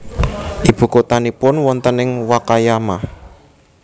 Ibu kotanipun wonten ing Wakayama